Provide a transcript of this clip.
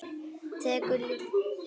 Tekur líklega nesti með sér.